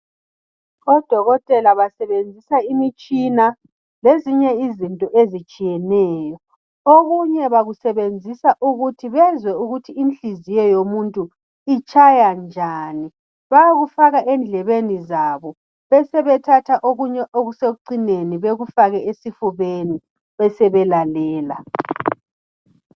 Odokotela basebenzisa imitshina lezinye izinto ezitshiyeneyo. Okunye bakusebenzisa ukuthi bezwe ukuthi inhliziyo yomuntu itshaya njani. Bayakufaka endlebeni zabo besebekufaka okunye okusekucineni bekufake esifubeni besebelalela.